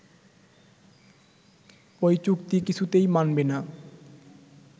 ওই চুক্তি কিছুতেই মানবে না